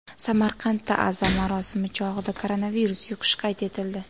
Samarqandda aza marosimi chog‘ida koronavirus yuqishi qayd etildi.